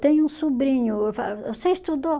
Tem um sobrinho, eu falo, você estudou?